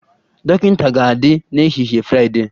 Dọkịta ga-adị n'ehihie Fraịdee